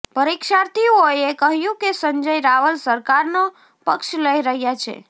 પરીક્ષાર્થીઓએ કહ્યું કે સંજય રાવલ સરકારનો પક્ષ લઈ રહ્યા છે